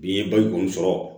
Ni n ye baliku sɔrɔ